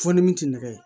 Fɔ ni min ti nɛgɛ